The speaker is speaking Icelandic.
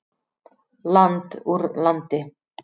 Land úr landi.